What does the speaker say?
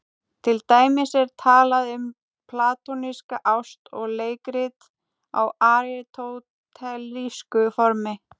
Til dæmis er talað um platónska ást og leikrit á aristótelísku formi.